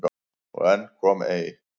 Og enn kom nei.